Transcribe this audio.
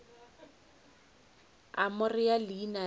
a mo rea leina la